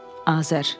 Azər.